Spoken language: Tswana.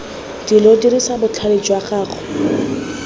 dilo dirisa botlhale jwa gago